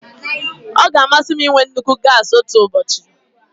Ọ ga-amasị m ịnwe nnukwu gasi otu ụbọchị.